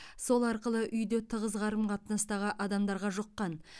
сол арқылы үйде тығыз қарым қатынастағы адамдарға жұққан